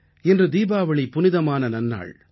இன்று தீபாவளி புனிதமான நன்னாள்